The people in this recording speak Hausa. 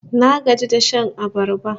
Na gaji da shan abarba